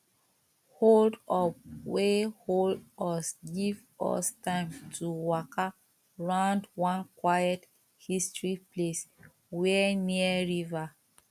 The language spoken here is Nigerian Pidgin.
hold up wey hold us give us time to waka round one quiet history place wey near river